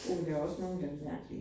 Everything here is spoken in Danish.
Men der også nogle af dem, der mærkelige